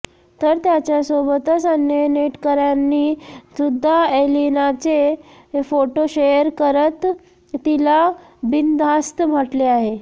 तर त्याच्या सोबतच अन्य नेटकऱ्यांनी सुद्धा एलिनाचे फोटो शेअर करत तिला बिनधास्त म्हटले आहे